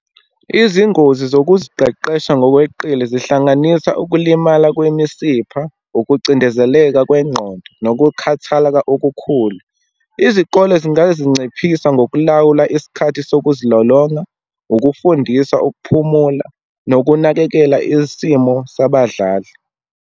Izingozi zokuziqeqesha ngokweqile zihlanganisa, ukulimala kwemisipha, ukucindezeleka kwengqondo, nokukhathaleka okukhulu. Izikole zingazinciphisa ngokulawula isikhathi sokuzilolonga, ukufundisa ukuphumula, nokunakekela isimo sabadlali.